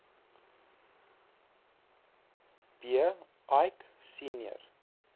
b eick senior